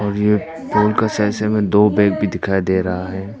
ये पोल के दो बैग भी दिखाई दे रहा है।